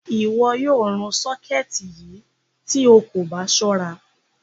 Iwọ́ yóò rún ṣọkẹtì yí tó ó kò bá ṣọ̀ra.